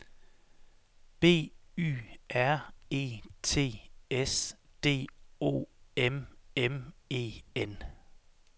B Y R E T S D O M M E N